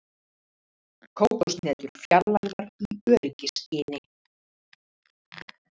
Kókoshnetur fjarlægðar í öryggisskyni